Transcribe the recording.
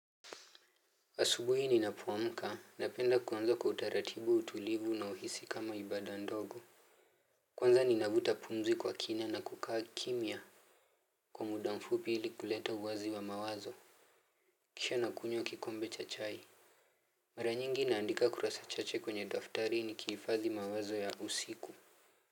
Asubuhi ninapoamka, napenda kuanza kwa utaratibu, utulivu na huhisi kama ibada ndogo. Kwanza ninavuta pumzi kwa kina na kukaa kimya kwa muda mfupi ili kuleta uwazi wa mawazo. Kisha nakunywa kikombe cha chai. Mara nyingi naandika kurasa chache kwenye daftari nikihifadhi mawazo ya usiku.